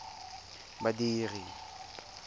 badiri